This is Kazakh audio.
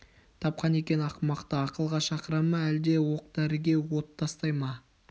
тапқан екен ақымақты ақылға шақыра ма жоқ әлде оқ дәріге от тастай ма